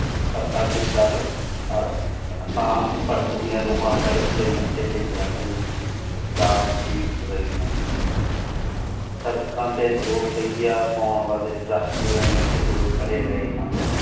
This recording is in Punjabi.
ਪਰ ਅੱਜ ਕਲ ਆਸ਼ਿਕ ਸ਼ਾਂਤ ਭਟਕਦਿਆਂ ਰੂਹਾਂ ਸੜਕ ਤੇ ਮੱਥੇ ਤੇ ਜਾਗਣ ਸੜਕਾਂ ਤੇ ਦੋ ਪਇਆ ਪੋਂਣ ਵਾਲੇ ਟਰੱਕ ਨੇ ਖੜੇ ਰਏ ਹਨ।